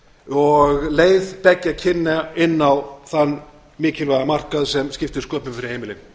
og leið beggja kynja inn á þann mikilvæga markað sem skiptir sköpum fyrir heimilin